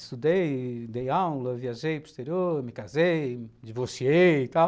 Estudei, dei aula, viajei para o exterior, me casei, divorciei e tal.